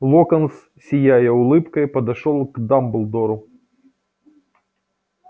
локонс сияя улыбкой подошёл к дамблдору